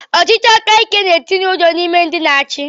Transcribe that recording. Ọchịchị aka ike na-etinye ụjọ n’ime ndị a na achi